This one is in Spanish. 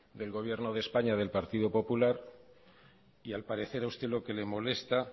del gobierno de españa del partido popular y al parecer a usted lo que le molesta